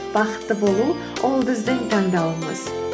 бақытты болу ол біздің таңдауымыз